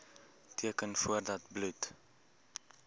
teken voordat bloed